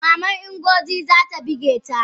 Maman Ngozi ta bigeta?